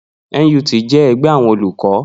NUT jẹ́ ẹgbẹ́ àwọn olùkọ́